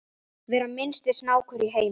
vera minnsti snákur í heimi